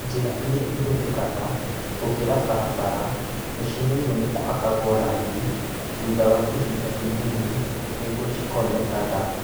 Njĩra irĩa ihũthĩkaga gũkĩra barabara ciagiriirwo nĩ kũhakagwo rangi thutha wa ihinda inini nĩguo cikonekaga